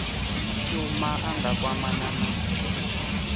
shuma a nga kwamana na